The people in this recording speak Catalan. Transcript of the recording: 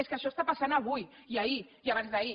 és que això està passant avui i ahir i abans d’ahir